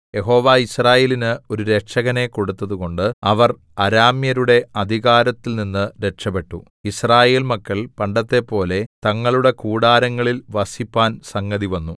യഹോവ യിസ്രായേലിന് ഒരു രക്ഷകനെ കൊടുത്തതുകൊണ്ട് അവർ അരാമ്യരുടെ അധികാരത്തിൽനിന്ന് രക്ഷപെട്ടു യിസ്രായേൽ മക്കൾ പണ്ടത്തെപ്പോലെ തങ്ങളുടെ കൂടാരങ്ങളിൽ വസിപ്പാൻ സംഗതിവന്നു